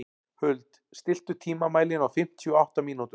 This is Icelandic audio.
Huld, stilltu tímamælinn á fimmtíu og átta mínútur.